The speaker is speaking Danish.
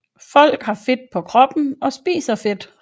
Folk har fedt på kroppen og spiser fedt